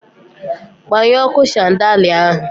Gbanyụọ ọkụ shandalịa ahụ!